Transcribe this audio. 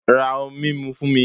Ra ohun mímu fún mi